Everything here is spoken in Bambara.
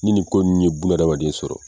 Ni nin ko ninnu ye bunadamaden sɔrɔ.